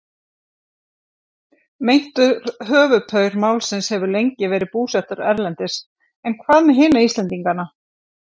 Meintur höfuðpaur málsins hefur lengi verið búsettur erlendis en hvað með hina Íslendingana?